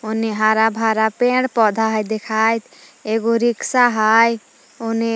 ओने हरा भरा पेड़ पौधा हइ देखाइत एगो रिक्शा हइ ओने--